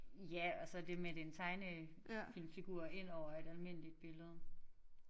Ja og så det med den tegne film figur ind over et almindeligt billede